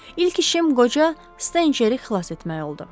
İlk işim qoca Stenceri xilas etmək oldu.